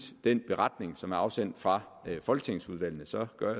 den beretning som er afsendt fra folketingsudvalgene så gør